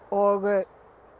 og